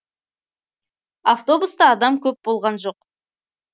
автобуста адам көп болған жоқ